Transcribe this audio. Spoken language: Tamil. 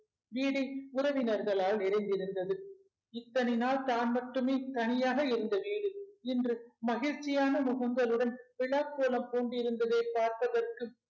வீடு உறவினர்களால் நிறைந்திருந்தது இத்தனை நாள் தான் மட்டுமே தனியாக இருந்த வீடு இன்று மகிழ்ச்சியான முகங்களுடன் விழாக்கோலம் பூண்டிருந்ததை பார்ப்பதற்கு